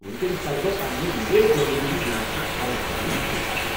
ونکینس کر بہٕ پننہ لیٹ ڈلیوری ہنٛد یہ مسلہٕ حل کرنٕچ کوُشش۔